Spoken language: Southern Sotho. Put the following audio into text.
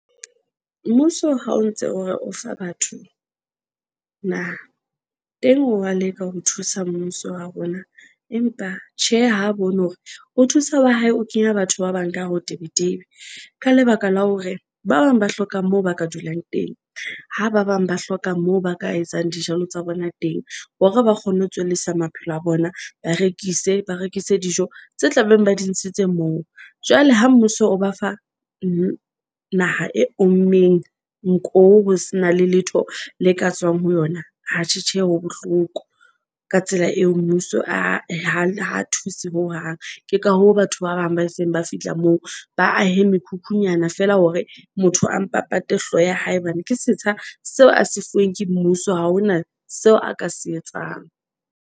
Mmuso ha o ntse hore o fa batho naha teng wa leka ho thusa mmuso wa rona, empa tjhe ha bone hore o thusa wa hae o kenya batho ba bang ka hare ho tebetebe. Ka lebaka la hore ba bang ba hloka moo ba ka dulang teng ho ba bang ba hloka moo ba ka etsang dijalo tsa bona teng hore ba kgone ho tswellisa maphelo a bona. Ba rekise ba rekise dijo tse tla beng ba di ntshitse moo. Jwale ha mmuso o ba fa di naha e ommeng, nko ho se na le letho le ka tswang ho yona. Atjhe tjhe ha bohloko ka tsela eo mmuso ae ha thuse hohang. Ke ka hoo batho ba bang ba seng ba fihla moo ba ahe mekhukhunyana feela hore motho a mpa pate hlooho ya hae bane ke setsha seo a se fuweng ke mmuso, ha hona seo a ka se etsang.